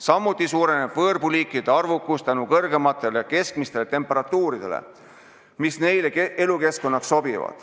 Samuti suureneb võõrpuuliikide arvukus tänu kõrgemale keskmisele temperatuurile, mis neile elukeskkonnaks sobib.